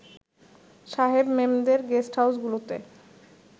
সাহেব-মেমদের গেস্টহাউসগুলোতে